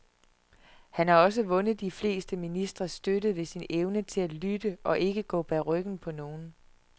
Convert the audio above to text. Han har også vundet de fleste ministres støtte ved sin evne til at lytte og ikke gå bag ryggen på nogen.